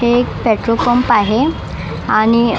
हे एक petrol pump आहे आणि अ--